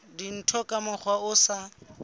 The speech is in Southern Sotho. dintho ka mokgwa o sa